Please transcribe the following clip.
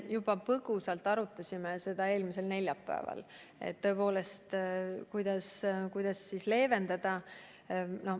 Me põgusalt arutasime juba eelmisel neljapäeval, kuidas olukorda leevendada.